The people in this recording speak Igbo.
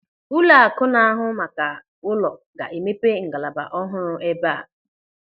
Ụlọakụ na-ahụ maka ụlọ ga-emepe ngalaba ọhụrụ eba a.